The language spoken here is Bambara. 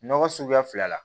Nɔgɔ suguya fila la